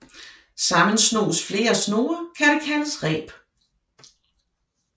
Sammensnoes flere snore kan det kaldes reb